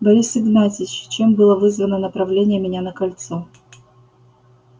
борис игнатьевич чем было вызвано направление меня на кольцо